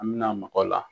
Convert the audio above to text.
An mɛna mɔgɔ la